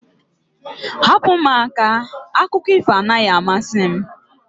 Hapụ m aka! Akụkọ ifo anaghị amasị m